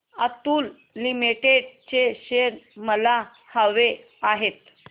Atul limited चे shares मला हवे आहेत